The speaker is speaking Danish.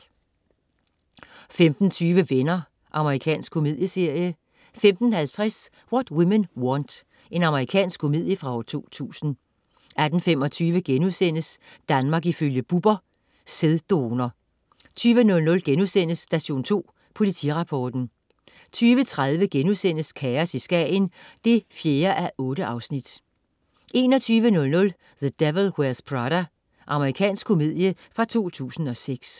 15.20 Venner. Amerikansk komedieserie 15.50 What Women Want. Amerikansk komedie fra 2000 18.25 Danmark ifølge Bubber.* Sæddonor 20.00 Station 2 Politirapporten* 20.30 Kaos i Skagen 4:8* 21.00 The Devil Wears Prada. Amerikansk komedie fra 2006